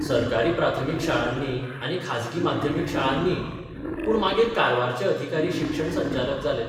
सरकारी प्राथमीक शाळांनी आनी खाजगी माध्यमीक शाळांनीय पूण मागीर कारवारचे अधिकारी शिक्षण संचालक जाले.